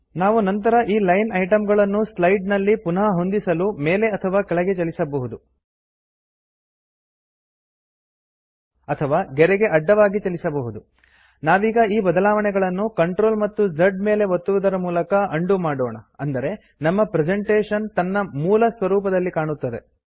ನಾವು ನಂತರ ಈ ಲೈನ್ ಐಟಂಗಳನ್ನು ಸ್ಲೈಡನಲ್ಲಿ ಪುನಃ ಹೊಂದಿಸಲು ಮೇಲೆ ಅಥವಾ ಕೆಳಗೆ ಚಲಿಸಬಹುದು ಅಥವಾ ಗೆರೆಗೆ ಅಡ್ಡವಾಗಿ ಚಲಿಸಬಹುದು ನಾವೀಗ ಈ ಬದಲಾವಣೆಗಳನ್ನು CTRL ಮತ್ತು Z ಮೇಲೆ ಒತ್ತುವದರ ಮೂಲಕ ಉಂಡೋ ಮಾಡೋಣ ಅಂದರೆ ನಮ್ಮ ಪ್ರೆಸೆಂಟೇಶನ್ ತನ್ನ ಮೂಲ ಸ್ವರೂಪದಲ್ಲಿ ಕಾಣುತ್ತದೆ